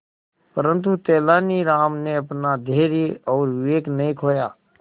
परंतु तेलानी राम ने अपना धैर्य और विवेक नहीं खोया